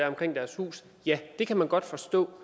omkring deres hus ja det kan man godt forstå